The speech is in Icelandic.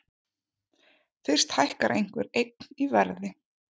Fyrst hækkar einhver eign í verði.